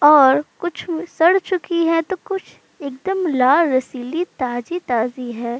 और कुछ व् सड़ चुकी है तो कुछ एकदम लाल रसीली ताजी-ताजी है।